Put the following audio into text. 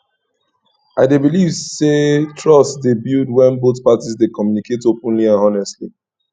i dey believe say trust dey build when both parties dey communicate openly and honestly